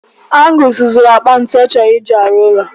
Angus zụrụ akpa ntụ ọ chọrọ ị ji rụọ ụlọ.